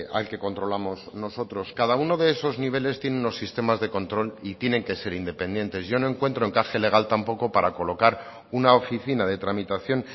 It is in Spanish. al que controlamos nosotros cada uno de esos niveles tiene unos sistemas de control y tienen que ser independientes yo no encuentro encaje legal tampoco para colocar una oficina de tramitación